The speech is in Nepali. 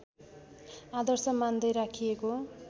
आदर्श मान्दै राखिएको